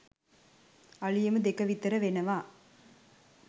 අලුයම දෙක විතර වෙනවා.